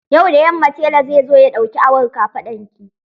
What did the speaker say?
Yau da yamma tela zai zo ya ɗauki awon kafaɗarki.